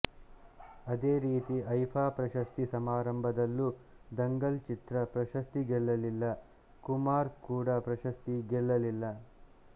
ಅದೇ ರೀತಿ ಐಫ಼ಾ ಪ್ರಶಸ್ತಿ ಸಮಾರಂಭದಲ್ಲೂ ದಂಗಲ್ ಚಿತ್ರ ಪ್ರಶಸ್ತಿ ಗೆಲ್ಲಲಿಲ್ಲ ಕುಮಾರ್ ಕೂಡ ಪ್ರಶಸ್ತಿ ಗೆಲ್ಲಲಿಲ್ಲ